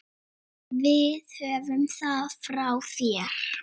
Við höfum það frá þér!